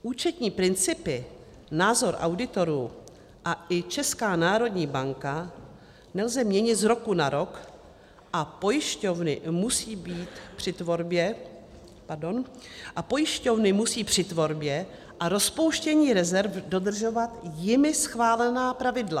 Účetní principy, názor auditorů, a i Česká národní banka, nelze měnit z roku na rok a pojišťovny musí při tvorbě a rozpouštění rezerv dodržovat jimi schválená pravidla.